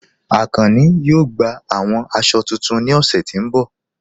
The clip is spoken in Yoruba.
Akànnì yóò gbà awọn àṣọ̀ tuntun ní ọṣẹ̀ tí n bọ̀